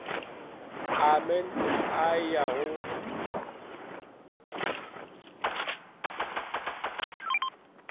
a mant i go ya